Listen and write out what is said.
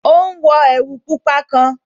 Ó ún wọ ẹ̀wù pupa kan